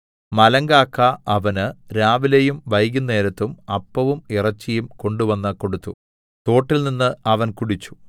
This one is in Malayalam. മലങ്കാക്ക അവന് രാവിലെയും വൈകുന്നേരത്തും അപ്പവും ഇറച്ചിയും കൊണ്ടുവന്ന് കൊടുത്തു തോട്ടിൽനിന്ന് അവൻ കുടിച്ചു